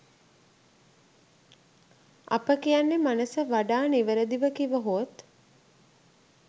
අප කියන්නේ මනස වඩා නිවැරදිව කිවහොත්